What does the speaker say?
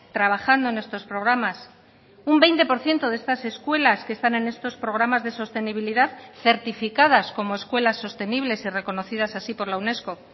trabajando en estos programas un veinte por ciento de estas escuelas que están en estos programas de sostenibilidad certificadas como escuelas sostenibles y reconocidas así por la unesco